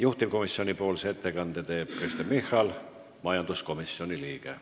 Juhtivkomisjoni ettekande teeb Kristen Michal, majanduskomisjoni liige.